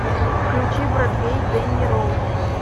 включи бродвей дэнни роуз